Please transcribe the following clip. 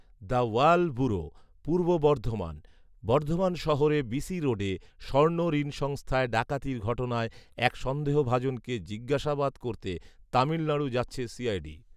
the Wall bureau, Purba Bardhaman, Bardhaman শহরে BC রোডে স্বর্ণঋণ সংস্থায় ডাকাতির ঘটনায় এক সন্দেহভাজনকে জিজ্ঞাসাবাদ করতে তামিলনাড়ু যাচ্ছে সিআইডি